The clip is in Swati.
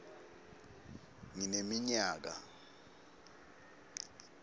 ngineminyaka